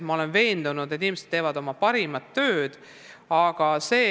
Ma olen veendunud, et inimesed teevad oma tööd parimal moel.